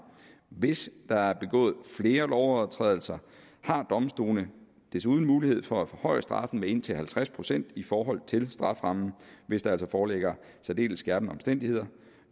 hvis der er begået flere lovovertrædelser har domstolene desuden mulighed for at forhøje straffen med indtil halvtreds procent i forhold til strafferammen hvis der altså foreligger særdeles skærpende omstændigheder